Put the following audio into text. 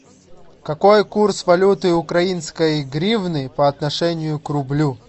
какой курс валюты украинской гривны по отношению к рублю